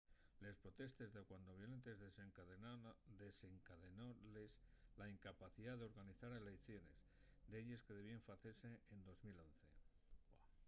les protestes dacuando violentes desencadenóles la incapacidá d’organizar eleiciones delles que debíen facese en 2011